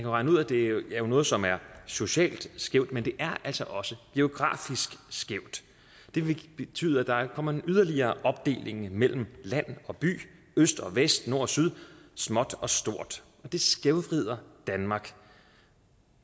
regne ud at det er noget som er socialt skævt men det er altså også geografisk skævt det vil betyde at der kommer en yderligere opdeling mellem land og by øst og vest nord og syd småt og stort det skævvrider danmark